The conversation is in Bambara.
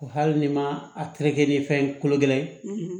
Wa hali ni ma a tereke ni fɛn kolo gɛlɛn